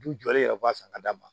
Du jɔlen yɛrɛ b'a san ka d'a ma